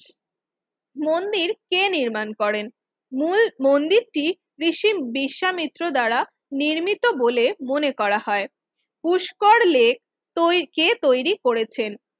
মন্দির কে নির্মাণ করেন? মূল মন্দিরটি ঋষি বিশ্বামিত্র দ্বারা নির্মিত বলে মনে করা হয় পুষ্কর লেক তৈরি কে তৈরি করেছেন?